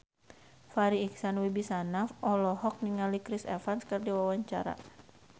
Farri Icksan Wibisana olohok ningali Chris Evans keur diwawancara